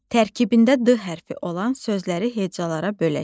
Tərkibində D hərfi olan sözləri hecalara bölək.